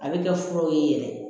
A bɛ kɛ furaw ye yɛrɛ